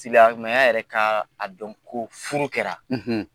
Silamɛya yɛrɛ ka dɔn ko furu kɛra